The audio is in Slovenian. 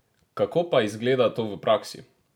Kako pa izgleda to v praksi?